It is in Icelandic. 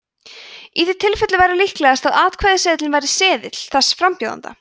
í því tilfelli væri líklegast að atkvæðaseðilinn væri seðill þess frambjóðanda